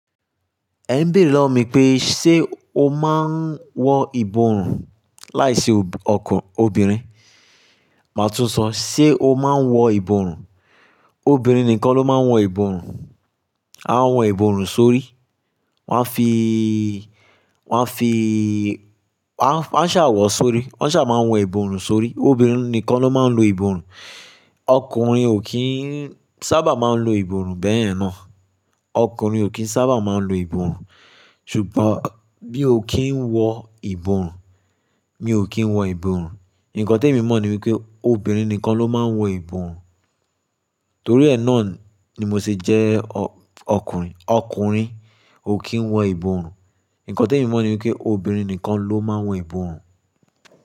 Ẹ ń béèrè lọwọ mi pé ṣe ó máa ń wọ ìbòrùn láìse obìnrin, màá tún sọ sé o máa ń wọ ìbòrùn obìnrin nìkan ló máa ń wọ ìbòrùn. Wọn a wọ ìbòrùn sórí, wọ́n a fi, wọ́n a fi, wọ́n a ṣà wọ̀ sórí, wọ́n ṣà máa ń wọ ìbòrùn sórí. Obìnrin nìkan ló máa ń lo ìbòrùn, ọkùnrin ò kí ń sábà máa ń lo ìbòrùn bẹyẹn náà. Ọkùnrin ò kí ń sábà máa ń lo ìbòrùn. Ṣùgbọ́n mí ó kí ń wọ ìbòrùn, mí ò kí ń wọ ìbòrùn. Ǹkan tèmi mọ̀ ni wípé obìnrin nìkan ló máa ń wọ ìbòrùn. Torí ẹ náà ni mo se jẹ́ ọkùnrin, ọkùnrin ò kí ń wọ ìbòrùn. Ǹkan tí èmi mọ̀ ni wípé obìnrin nìkan ló máa ń wọ ìbòrùn.